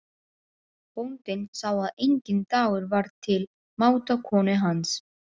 Bóndinn sá að enginn dagur var til máta konu hans.